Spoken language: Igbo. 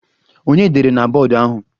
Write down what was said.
Ònye dere na bọọdụ ahụ?